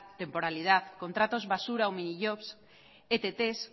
temporalidad contratos basura o minijobs etts